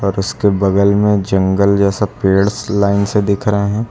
और उसके बगल में जंगल जैसा पेड़ लाइन से दिख रहा है।